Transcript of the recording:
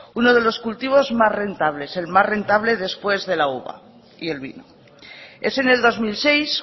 uno de los cultivos más rentables el más rentable después de la uva y el vino es en el dos mil seis